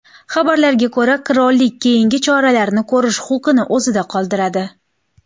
Xabarlarga ko‘ra, qirollik keyingi choralarni ko‘rish huquqini o‘zida qoldiradi.